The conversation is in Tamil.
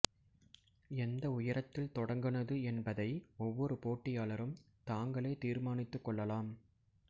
எந்த உயரத்தில் தொடங்குனது என்பதை ஒவ்வொரு போடியாளரும் தாங்களே தீர்மானித்துக் கொள்ளலாம்